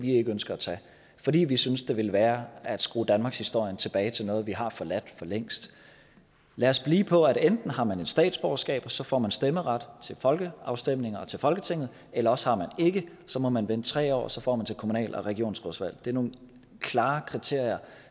ikke ønsker at tage fordi vi synes det ville være at skrue danmarkshistorien tilbage til noget vi har forladt for længst lad os blive på at enten har man et statsborgerskab og så får man stemmeret til folkeafstemninger og til folketinget eller også har man ikke så må man vente tre år og så får man til kommunal og regionsrådsvalg det er nogle klare kriterier